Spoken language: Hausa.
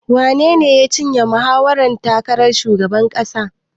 Wanene ya cinye mahawarar ƴan takarar shugaban ƙasar?